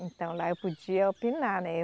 Então, lá eu podia opinar, né?